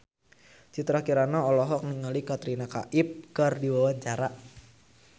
Citra Kirana olohok ningali Katrina Kaif keur diwawancara